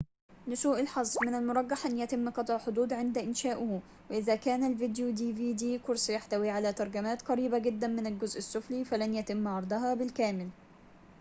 لسوء الحظ من المرجح أن يتم قطع حدود قرص dvd عند إنشاؤه وإذا كان الفيديو يحتوي على ترجمات قريبة جداً من الجزء السفلي فلن يتم عرضها بالكامل